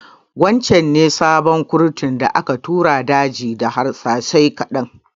Wancan ne sabon kurtun da aka tura daji da harsashai ƙaɗan